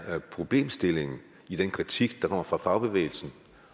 problemstillingen i den kritik der kommer fra fagbevægelsen